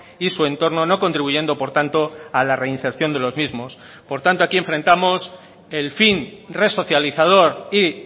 y su entorno no contribuyendo por tanto a la reinserción de los mismos por tanto aquí enfrentamos el fin resocializador y